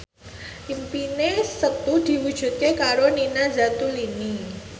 impine Setu diwujudke karo Nina Zatulini